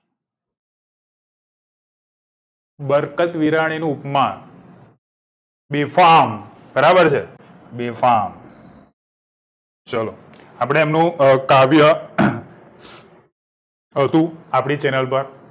બરકત બીરાણી ઉપમા બેફામ બરાબર છે બેફામ ચલો આપડે એમનું કાવ્ય વળતું આપડી channel પર